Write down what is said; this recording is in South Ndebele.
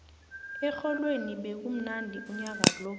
erholweni bekumnandi unyaka lo